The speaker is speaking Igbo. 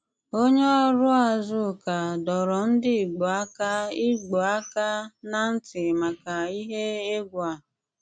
Onyè ọrụ́ Àzùká dọ̀rọ̀ ndị Ìgbò àkà Ìgbò àkà ná̀ ntị maka ìhè ègwù̀ à.